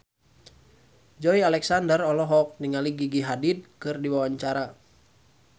Joey Alexander olohok ningali Gigi Hadid keur diwawancara